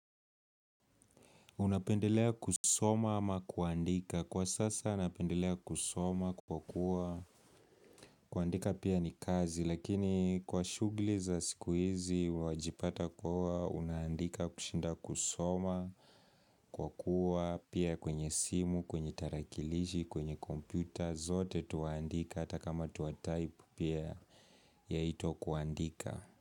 Unapendelea kusoma ama kuandika kwa sasa napendelea kusoma kwa kuwa kuandika pia ni kazi lakini kwa shugli za sikuizi wajipata kuwa unaandika kushinda kusoma kwa kuwa pia kwenye simu, kwenye tarakilishi, kwenye kompyuta zote tuandika hata kama tuatype pia yaitwa kuandika.